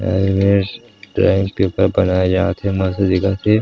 अऊ ए मेर ड्रॉइंग पेपर बनाए जात हे मस्त दिखत हे।